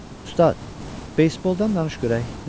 Usta, beysboldan danış görək.